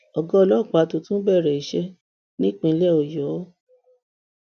ọgá ọlọpàá tuntun bẹ̀rẹ̀ iṣẹ́ nípínlẹ ọyọ